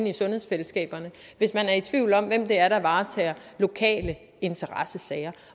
i sundhedsfællesskaberne hvis man er i tvivl om hvem det er der varetager lokale interessesfære